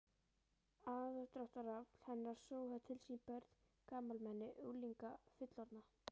Aðdráttarafl hennar sogaði til sín börn, gamalmenni, unglinga, fullorðna